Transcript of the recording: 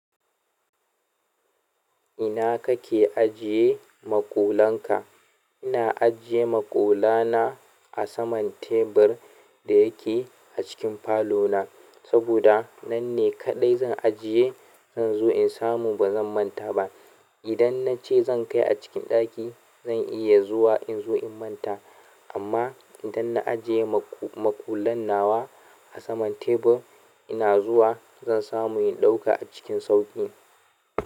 Ina kake ajiye maƙullan ka? Ina ajiye maƙula na a saman tebur da yake a cikin falo na. Saboda nan ne kaɗai zan ajiye zan zo na samu bazan manta ba idan na ce zan kai a cikin ɗaki, zan iya zuwa in zo in manta. Amma idan na ajiye maƙullan nawa a saman tebur, ina zuwa zan samu in ɗauka cikin sauƙi.